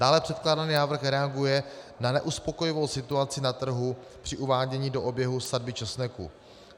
Dále předkládaný návrh reaguje na neuspokojivou situaci na trhu při uvádění do oběhu sadby česneku.